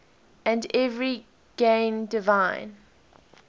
and every gain divine